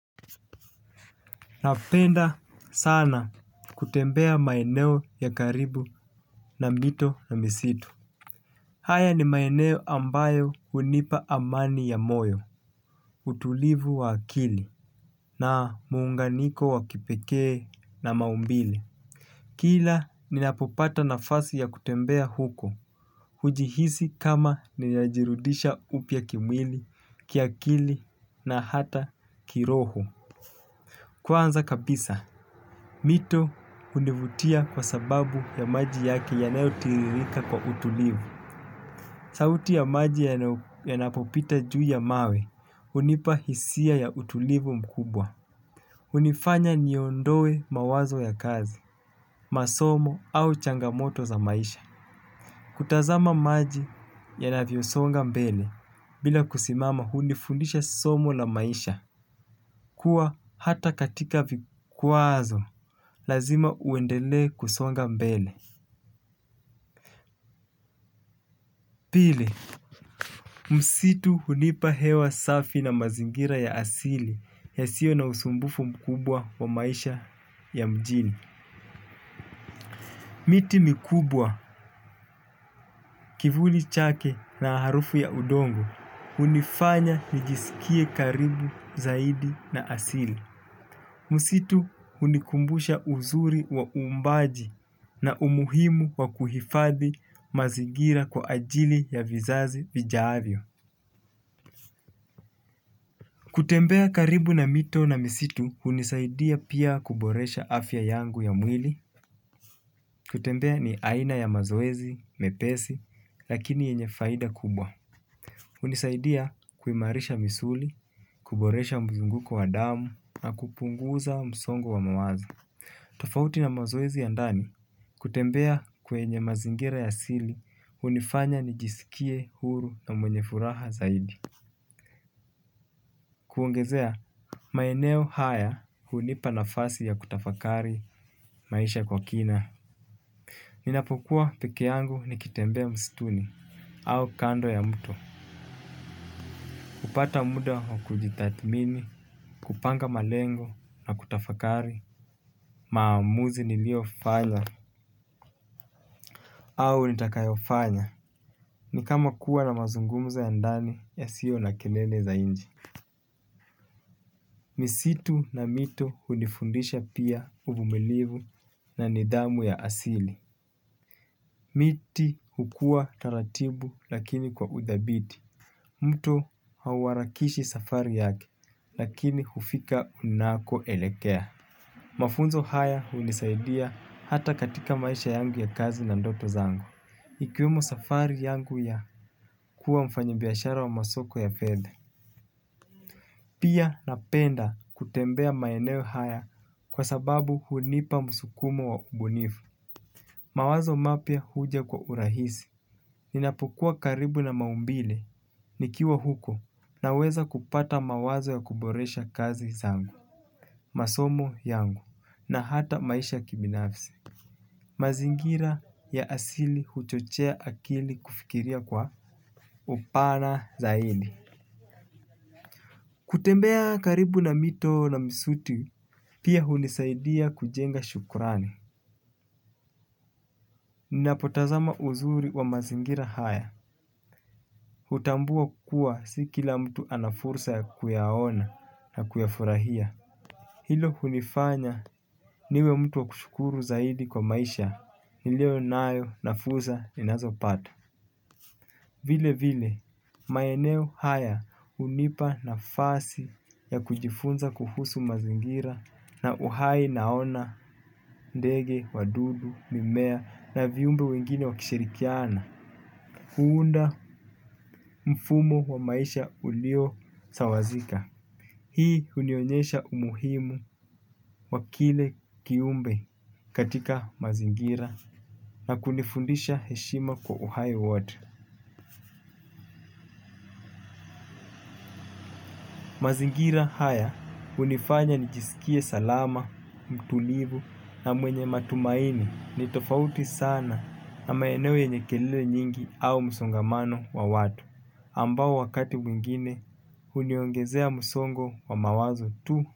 Napenda sana kutembea maeneo ya karibu na mito na misitu. Haya ni maeneo ambayo hunipa amani ya moyo, utulivu wa akili, na muunganiko wakipekee na maumbile. Kila ninapopata nafasi ya kutembea huko, hujihisi kama ninajirudisha upya kimwili, kiakili na hata kiroho. Kwanza kabisa, mito hunivutia kwa sababu ya maji yake yanayotiririka kwa utulivu. Sauti ya maji yanapopita juu ya mawe, hunipa hisia ya utulivu mkubwa. Hunifanya niondoe mawazo ya kazi, masomo au changamoto za maisha. Kutazama maji yanavyosonga mbele, bila kusimama hunifundisha somo la maisha. Kuwa hata katika vikwazo, lazima uendele kusonga mbele. Pili, msitu hunipa hewa safi na mazingira ya asili yasio na usumbufu mkubwa wa maisha ya mjini. Miti mikubwa, kivuli chake na harufu ya udongo hunifanya nijisikie karibu zaidi na asili. Msitu hunikumbusha uzuri wa uumbaji na umuhimu wa kuhifadhi mazingira kwa ajili ya vizazi vijavyo. Kutembea karibu na mito na misitu hunisaidia pia kuboresha afya yangu ya mwili. Kutembea ni aina ya mazoezi, mepesi, lakini yenye faida kubwa. Hunisaidia kuimarisha misuli, kuboresha mzunguko wa damu na kupunguza msongo wa mawazo. Tofauti na mazoezi ya ndani, kutembea kwenye mazingira ya asili hunifanya nijisikie huru na mwenye furaha zaidi. Kuongezea, maeneo haya hunipa nafasi ya kutafakari maisha kwa kina. Ninapokuwa pekee yangu nikitembea msituni au kando ya mto kupata muda wa kujitathmini kupanga malengo na kutafakari maamuzi niliofanya au nitakayofanya, ni kama kuwa na mazungumzo ya ndani yasio na kelele za inje. Misitu na mito hunifundisha pia uvumilivu na nidhamu ya asili. Miti hukua taratibu lakini kwa uthabiti. Mto hauharakishi safari yake lakini hufika unako elekea. Mafunzo haya hunisaidia hata katika maisha yangu ya kazi na ndoto zangu. Ikiwemo safari yangu ya kuwa mfanyabiashara wa masoko ya fedha. Pia napenda kutembea maeneo haya kwa sababu hunipa msukumo wa ubunifu. Mawazo mapya huja kwa urahisi. Ninapokua karibu na maumbile nikiwa huko na weza kupata mawazo ya kuboresha kazi zangu masomo yangu na hata maisha kibinafsi mazingira ya asili huchochea akili kufikiria kwa upana zaidi. Kutembea karibu na mito na misitu pia hunisaidia kujenga shukurani. Ninapotazama uzuri wa mazingira haya hutambua kuwa si kila mtu anafursa ya kuyaona na kuyafurahia. Hilo hunifanya niwe mtu wa kushukuru zaidi kwa maisha. Nileo nayo nafuza ninazo pata. Vile vile, maeneo haya hunipa nafasi ya kujifunza kuhusu mazingira na uhai naona ndege, wadudu, mimea na viumbe wengine wakishirikiana. Kuunda mfumo wa maisha ulio sawazika hii hunionyesha umuhimu wa kila kiumbe katika mazingira na kunifundisha heshima kwa uhai wote. Mazingira haya, hunifanya nijisikie salama, mtulivu na mwenye matumaini, ni tofauti sana na maeneo yenye kelele nyingi au msongamano wa watu, ambao wakati mwingine huniongezea msongo wa mawazo tu.